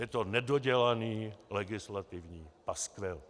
Je to nedodělaný legislativní paskvil.